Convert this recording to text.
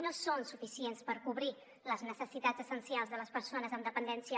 no són suficients per cobrir les necessitats essencials de les persones amb dependència